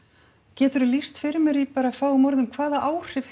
geturðu lýst fyrir mér í fáum orðum hvaða áhrif